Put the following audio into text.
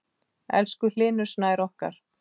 Elsku Hlynur Snær okkar.